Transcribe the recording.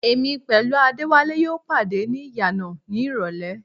Èmi pẹ̀lú Adéwálé yóò pàdé ní ìyànà ní ìrọlẹ́